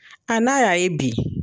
A n'a ya ye bi